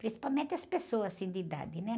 Principalmente as pessoas, assim, de idade, né?